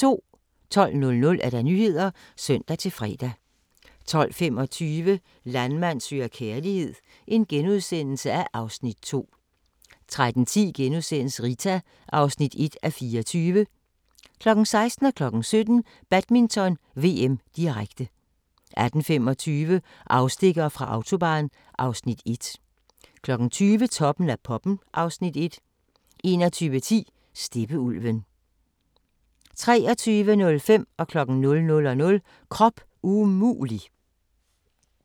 12:00: Nyhederne (søn-fre) 12:25: Landmand søger kærlighed (Afs. 2)* 13:10: Rita (1:24)* 16:00: Badminton: VM, direkte 17:00: Badminton: VM, direkte 18:25: Afstikkere fra Autobahn (Afs. 1) 20:00: Toppen af poppen (Afs. 1) 21:10: Steppeulven 23:05: Krop umulig 00:00: Krop umulig!